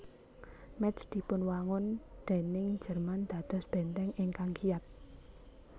Métz dipunwangun déning Jerman dados bèntèng ingkang kiyat